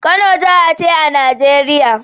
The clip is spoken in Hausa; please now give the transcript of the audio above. Kano jaha ce a Nigeria